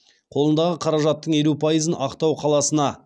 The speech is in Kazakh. қолындағы қаражаттың елу пайызына ақтау қаласына